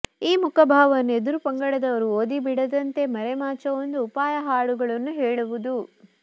ಈ ಮುಖಭಾವವನ್ನು ಎದುರು ಪಂಗಡದವರು ಓದಿಬಿಡದಂತೆ ಮರೆ ಮಾಚುವ ಒಂದು ಉಪಾಯ ಹಾಡುಗಳನ್ನು ಹೇಳುವುದು